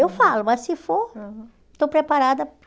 Eu falo, mas se for, estou preparada.